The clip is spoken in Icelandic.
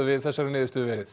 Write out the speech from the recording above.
við þessari niðurstöðu verið